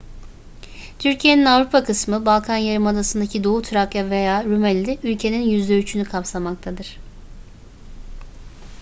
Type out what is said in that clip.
türkiye'nin avrupa kısmı balkan yarımadasındaki doğu trakya veya rumeli ülkenin %3'ünü kapsamaktadır